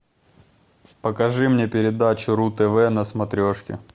покажи мне передачу ру тв на смотрешке